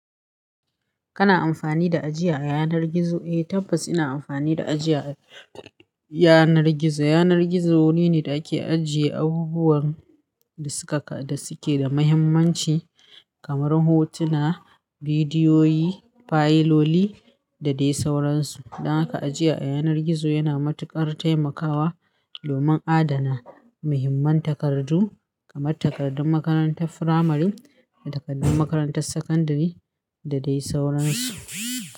Kana amfani da aji a yanar gizo? Eh tabbas ina amfani da aji a yanar gizo. Yanar gizo wuri ne da ake ajiye abubuwan da suka da suke da mahimmanci kamar hotuna, bidiyoyi, fayiloli da dai sauransu. Dan haka aji a yanar gizo yana matuƙar taimakawa domin adana mahimman takardu kamar takardun makarantar firamare da takardun makarantar sakandare da dai sauransu.